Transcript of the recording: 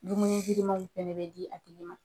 Dumuni girimanw fɛnɛ bɛ di a tigi ma .